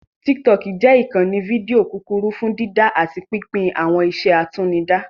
Tiktok jẹ́ ìkànnì fídíò kúkúrú fún dídá àti pínpín àwọn iṣẹ́ àtinúdá